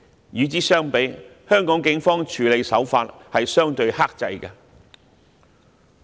與之相比，香港警方的處理手法相對克制。